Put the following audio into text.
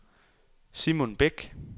Simon Bech